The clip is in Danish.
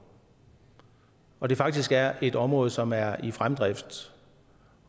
og det faktisk er et område som er i fremdrift